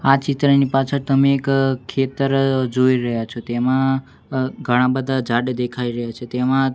આ ચિત્રની પાછળ તમે એક ખેતર જોઈ રહ્યા છો તેમાં અ ઘણા બધા ઝાડ દેખાય રહ્યા છે તેમાં--